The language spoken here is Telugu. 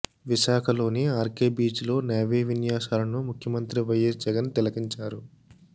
విశాఖలోని ఆర్కే బీచ్లో నేవీ విన్యాసాలను ముఖ్యమంత్రి వైయస్ జగన్ తిలకించారు